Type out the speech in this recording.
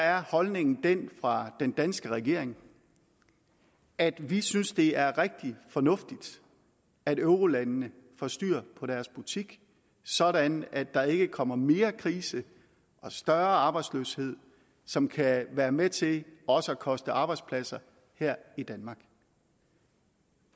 er holdningen den fra den danske regering at vi synes det er rigtig fornuftigt at eurolandene får styr på deres butik sådan at der ikke kommer mere krise og større arbejdsløshed som kan være med til også at koste arbejdspladser her i danmark